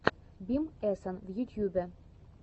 бим эсэн в ютьюбе